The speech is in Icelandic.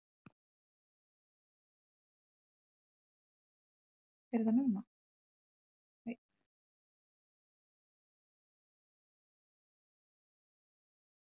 Meðan hann syngur.